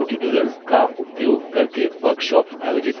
spoken tutorials का उपयोग करके workshops आयोजित करते हैं